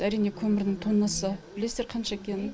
әрине көмірдің тоннасы білесіздер қанша екенін